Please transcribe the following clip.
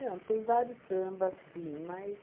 tem vários sambas, sim, mas...